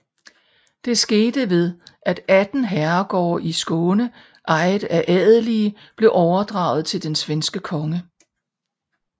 Det skete ved at 18 herregårde i Skåne ejet af adelige blev overdraget til den svenske konge